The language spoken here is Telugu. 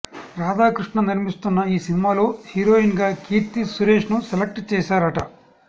రాధాకృష్ణ నిర్మిస్తున్న ఈ సినిమాలో హీరోయిన్ గా కీర్తి సురేష్ ను సెలెక్ట్ చేశారట